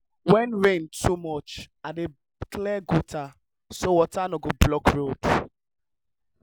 when rain too much i dey clear gutter so water no go block road.